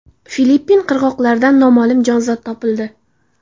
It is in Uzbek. Filippin qirg‘oqlaridan noma’lum jonzot topildi.